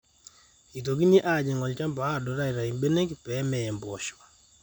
eitokini aajing olchamba aadot aaitau imbenek pee meya impoosho